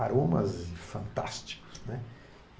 Aromas fantásticos, né.